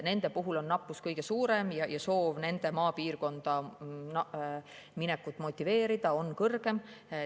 Nende nappus on kõige suurem ja ka soov nende maapiirkonda minekut motiveerida on suurem.